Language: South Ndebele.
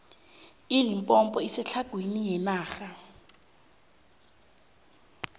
ilimpompo isetlhagwini yenarha